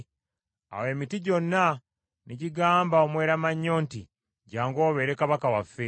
Awo emiti gyonna ne gigamba omweramannyo nti, ‘Jjangu obeere kabaka waffe.’